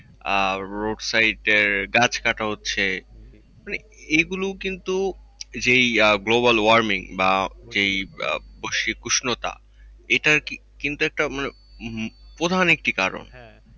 আহ road side এর গাছ কাটা হচ্ছে। মানে এগুলো কিন্তু যেই global warming বা যেই আহ বৈশ্বিক উষ্ণতা যেটার কিন্তু একটা আপনার প্রধান একটি কারণ।